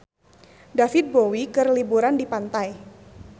David Bowie keur liburan di pantai